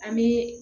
An bɛ